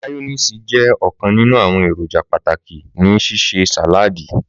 Màyọ́néèsì jẹ ọkan ninu awọn eroja pataki ni ṣiṣe sàláàdì.